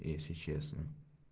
если честно